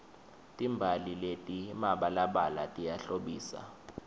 timbali letimabalabala tiyahlobisa